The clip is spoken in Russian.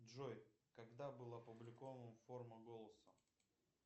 джой когда был опубликован форма голоса